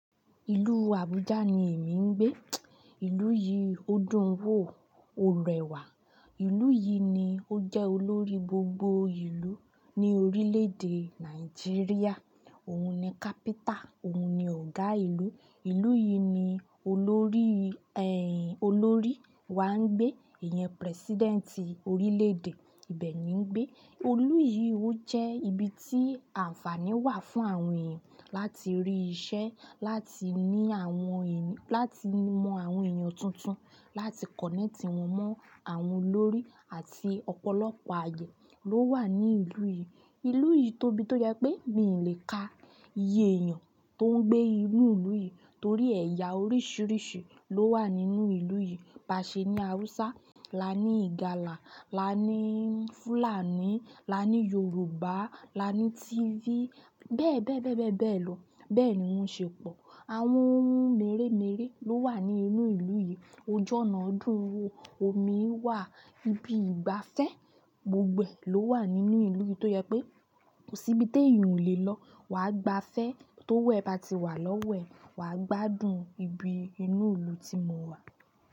Ìlú Abuja ni èmi ń gbé. Ìlú yìí ó dùn wò, ó rẹwà. Ìlú yìí ni ó jẹ́ olórí gbogbo ìlú ní orílédé Nàìjíríà. Òun ni capital, òun ni ọ̀gá ìlú. Ìlú yìí ni olórí, olórí wà ń gbé, iyen president orílédé ibẹ̀ ni ń gbé. Ìlú yìí ó jẹ́ ibi tí àǹfààní wà fún àwọn ẹ̀yàn láti rí ìṣẹ́, láti ní àwọn, láti mọ àwọn ènìyàn tuntun, láti connect wọn mọ́ àwọn olórí àti ọ̀pọ̀lọpọ̀ aye ló wà ní ìlú yìí. Ìlú yìí tóbi tó yẹ pé mi lè ka iye èèyàn tó ń gbé inú ìlú yìí torí ẹ̀yà oríṣìíríṣìí ló wà nínú ìlú yìí. Ba ṣe ní Hausa, la ní Ìgàlà, la ní Fùlàní, la ní Yorùbá, la ní Tíví, bẹ́ẹ̀ bẹ́ẹ̀ bẹ́ẹ̀ bẹ́ẹ̀ bẹ́ẹ̀ lọ. Bẹ́ẹ̀ ni wọ́n ṣe pọ̀. Àwọn ohun mèremère ló wà ní inú ìlú yìí. Ojú ọ̀nà dùn wo, omi wà, ibi ìgbafẹ́ gbogbo e ló wà nínú ìlú yìí tó jẹ pé kò sí ibi tí èèyàn ò lè lọ. Wàá gbafẹ́ tó wẹ̀ bá ti wà lọ́wẹ̀, wà á gbádùn ibi inú ìlú tí mo wà.